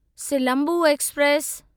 Silambu express